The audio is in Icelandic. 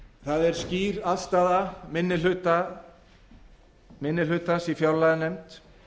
það er skýr afstaða minni hlutans í fjárlaganefnd